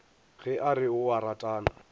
ge a re o ratana